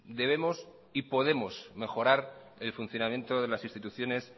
debemos y podemos mejorar el funcionamiento de las instituciones